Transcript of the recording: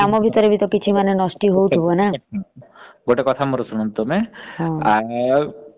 ତାହେଲେ ଆମେ ଯେତେବେଳେ ତାକୁ ଗ୍ରହଣ କଲେ ଆମ ଭିତରେ ତ କିଛି ନଷ୍ଟି ହାଉଥିବା ନା ।